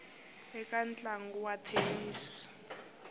eka ntlangu wa thenisi a